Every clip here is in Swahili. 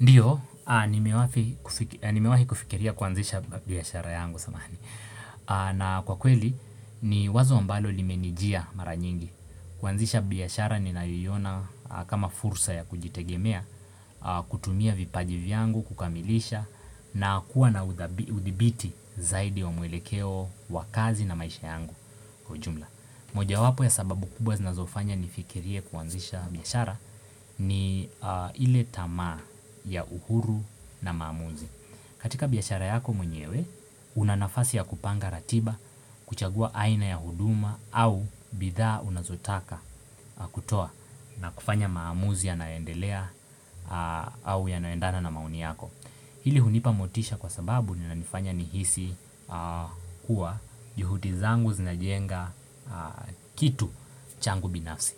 Ndiyo, nimewahi kufikiria kuanzisha biashara yangu samahani. Na kwa kweli, ni wazo ambalo limenijia mara nyingi. Kuanzisha biashara ninaiona kama fursa ya kujitegemea, kutumia vipaji vyangu, kukamilisha, na kuwa na udhibiti zaidi wa mwelekeo, wa kazi na maisha yangu kwa ujumla. Moja wapo ya sababu kubwa zinazofanya nifikirie kuanzisha biashara ni ile tamaa ya uhuru na maamuzi katika biashara yako mwenyewe, una nafasi ya kupanga ratiba, kuchagua aina ya huduma au bidhaa unazotaka kutoa na kufanya maamuzi yanaendelea au ya naendana na mauni yako Hili hunipa motisha kwa sababu linanifanya nihisi kuwa juhudi zangu zinajenga kitu changu binafsi.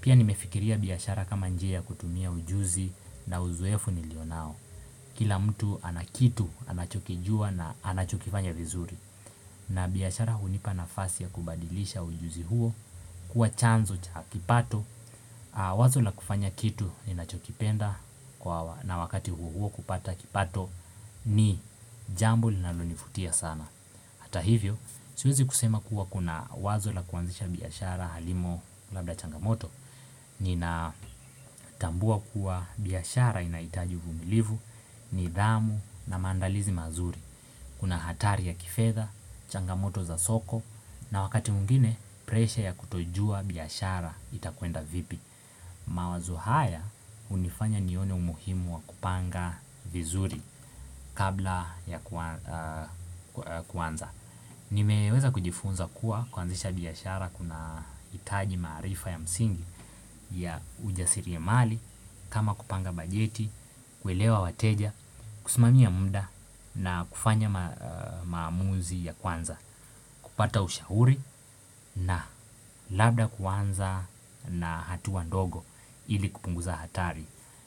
Pia nimefikiria biashara kama njia ya kutumia ujuzi na uzoefu nilio nao. Kila mtu ana kitu anachokijua na anachokifanya vizuri. Na biashara hunipa nafasi ya kubadilisha ujuzi huo kuwa chanzo cha kipato. Wazo la kufanya kitu ninachokipenda na wakati huo huo kupata kipato ni jambo linalonifutia sana Hata hivyo, siwezi kusema kuwa kuna wazo la kuanzisha biashara halimo labda changamoto Ninatambua kuwa biashara inahitaji uvumilivu nidhamu na maandalizi mazuri Kuna hatari ya kifedha, changamoto za soko na wakati mwingine presha ya kutojua biashara itakuenda vipi mawazo haya hunifanya nione umuhimu wa kupanga vizuri kabla ya kuanza Nimeweza kujifunza kuwa kuanzisha biashara kuna hitaji maarifa ya msingi ya ujasiri ya mali kama kupanga bajeti, kuelewa wateja, kusimamia muda na kufanya maamuzi ya kwanza kupata ushahuri na labda kuanza na hatuwa ndogo ili kupunguza hatari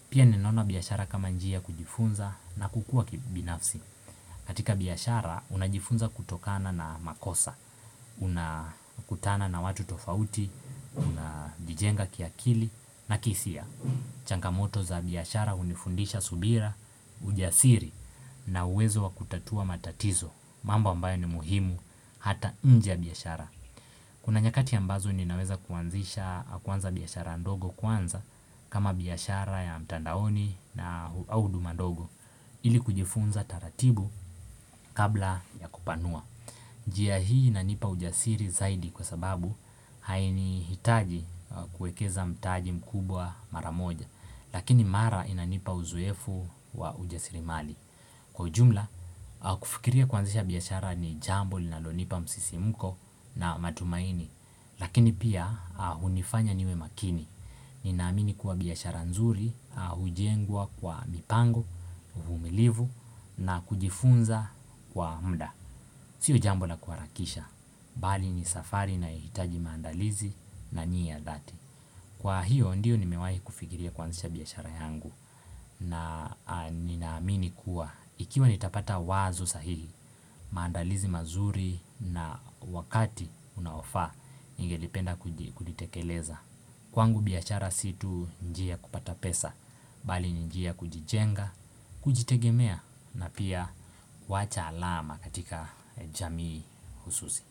Pia ninaona biashara kama njia kujifunza na kukua kibinafsi katika biashara, unajifunza kutokana na makosa unakutana na watu tofauti, unajijenga kiakili na kihisia changamoto za biashara hunifundisha subira, ujasiri na uwezo wa kutatua matatizo mambo ambayo ni muhimu, hata inje ya biashara Kuna nyakati ambazo ninaweza kuanza biashara ndogo kwanza kama biashara ya mtandaoni au huduma ndogo ili kujifunza taratibu kabla ya kupanua njia hii inanipa ujasiri zaidi kwa sababu Haini hitaji kuekeza mtaji mkubwa maramoja Lakini mara inanipa uzoefu wa ujasirimali Kwa ujumla, kufikiria kuanzisha biashara ni jambo linalonipa msisimko na matumaini Lakini pia hunifanya niwe makini Ninaamini kuwa biashara nzuri, hujengwa kwa mipango, uvumilivu na kujifunza kwa mda siyo jambo la kuharakisha, bali ni safari ina hitaji maandalizi na niya dhati Kwa hiyo ndiyo nimewai kufikiria kuanzisha biashara yangu na ninaamini kuwa, ikiwa nitapata wazo sahihi, maandalizi mazuri na wakati unaofaa ningelipenda kulitekeleza Kwangu biashara si tu njia ya kupata pesa bali njia ya kujijenga, kujitegemea na pia kuwacha alama katika jamii hususi.